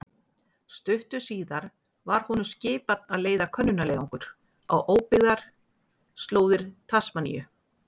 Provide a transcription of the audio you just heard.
Stuttu síðar var honum skipað að leiða könnunarleiðangur á óbyggðar slóðir Tasmaníu.